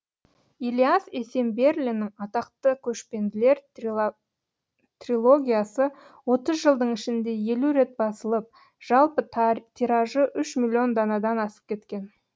ілияс есенберлиннің атақты көшпенділер трилогиясы отыз жылдың ішінде елу рет басылып жалпы тиражы миллион данадан асып кеткен